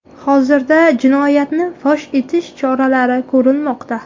Hozirda jinoyatni fosh etish choralari ko‘rilmoqda.